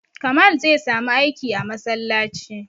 Kamal zai samu aiki a masallaci